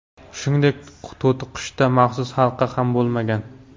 Shuningdek, to‘tiqushda maxsus halqa ham bo‘lmagan.